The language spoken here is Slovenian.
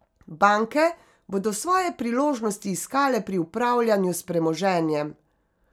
Banke bodo svoje priložnosti iskale pri upravljanju s premoženjem.